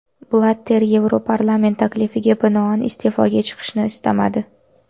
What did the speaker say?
Blatter Yevroparlament taklifiga binoan iste’foga chiqishni istamadi.